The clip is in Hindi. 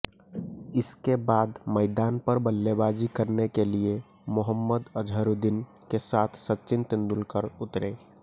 इसके बाद मैदान पर बल्लेबाजी करने के लिए मोहम्मद अजहरुद्दीन के साथ सचिन तेंदुलकर उतरे